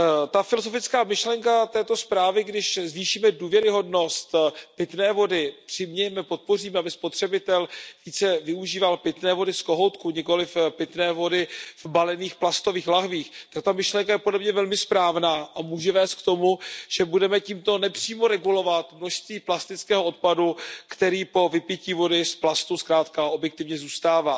Ta filozofická myšlenka této zprávy, když zvýšíme důvěryhodnost pitné vody, přimějeme, podpoříme, aby spotřebitel více využíval pitné vody z kohoutku, nikoliv pitné vody v balených plastových lahvích, tak ta myšlenka je podle mě velmi správná a může vést k tomu, že budeme tímto nepřímo regulovat množství plastového odpadu, který po vypití vody z plastu zkrátka objektivně zůstává.